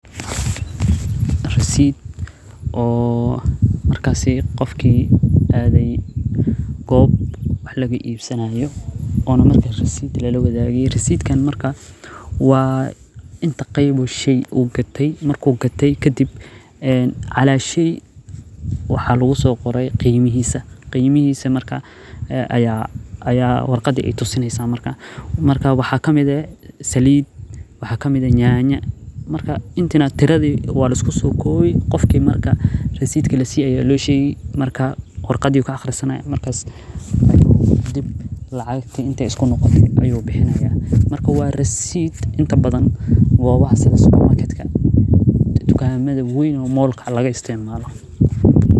Rasiid oo markasi qofki aade goob waxa lagu iibsanaayo, waa inta qeeb uu gate calaa sheey waxaa lagu qore qiimahiisa, waxa kamid ah saliid waxa kamid ah nyanya, waa lisku soo koobi qofka ayaa lasiinin, waa rasiid tukamada weyn laga isticmaalo.